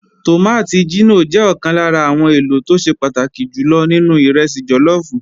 Tòmátì jínò jẹ́ ọ̀kan lára àwọn èlò tó ṣe pàtàkì jù lọ nínú ìrẹsì jọlọ́ọ̀fù